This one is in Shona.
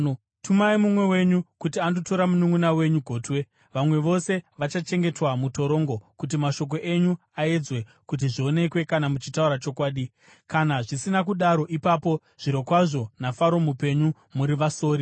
Tumai mumwe wenyu kuti andotora mununʼuna wenyu gotwe; vamwe vose vachachengetwa mutorongo, kuti mashoko enyu aedzwe kuti zvionekwe kana muchitaura chokwadi. Kana zvisina kudaro, ipapo zvirokwazvo naFaro mupenyu, muri vasori!”